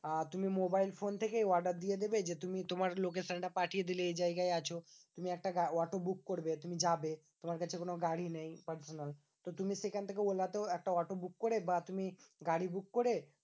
আহ তুমি mobile phone থেকেই order দিয়ে দেবে যে, তুমি তোমার location টা পাঠিয়ে দিলে এই জায়গায় আছো। তুমি একটা অটো book করবে, তুমি যাবে, তোমার কাছে কোনো গাড়ি নেই personal. তো তুমি সেখান থেকে ওলা তেও একটা অটো book করে বা তুমি গাড়ি book করে